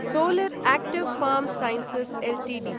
solar active pharm sciences Ltd